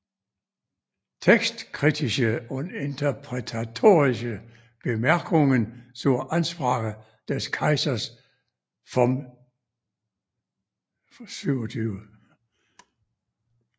Textkritische und interpretatorische Bemerkungen zur Ansprache des Kaisers vom 27